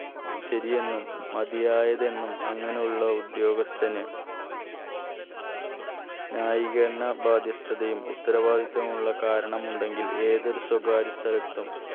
ശരിയെന്നും മതിയായതെന്നും അങ്ങനെ ഉള്ള ഉദ്യോഗസ്ഥന് ന്യായീകരണ ബാധ്യസ്ഥതയും ഉത്തരവാദിത്തമുള്ള കാരണമുണ്ടെങ്കിൽ ഏതൊരു സ്വകാര്യ സ്ഥലത്തും